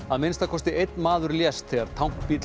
að minnsta kosti einn maður lést þegar